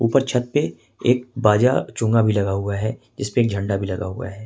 ऊपर छत पे एक बाजा चुंगा भी लगा हुआ है जिसपे एक झंडा भी लगा हुआ है।